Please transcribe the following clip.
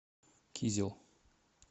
кизел